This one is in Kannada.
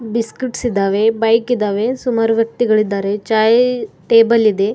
ಬಿಸ್ಕೆಟ್ಸ್ ಇದಾವೆ ಬೈಕ್ ಇದಾವೆ ಸುಮಾರು ವ್ಯಕ್ತಿಗಳಿದ್ದಾರೆ ಚಾಯ್ ಟೇಬಲ್ ಇದೆ.